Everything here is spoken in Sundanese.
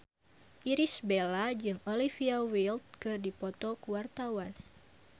Irish Bella jeung Olivia Wilde keur dipoto ku wartawan